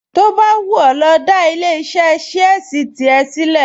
To bá wù ẹ́ lọ dá ilé-iṣẹ́ ṣíẹ́sì tìrẹ sílẹ̀